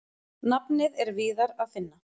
Nafnið er víðar að finna.